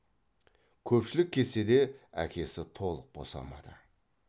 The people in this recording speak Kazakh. көпшілік кетсе де әкесі толық босамады